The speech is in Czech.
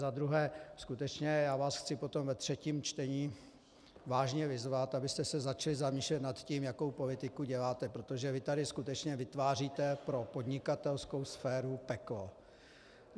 Za druhé, skutečně já vás chci potom ve třetím čtení vážně vyzvat, abyste se začali zamýšlet nad tím, jakou politiku děláte, protože vy tady skutečně vytváříte pro podnikatelskou sféru peklo.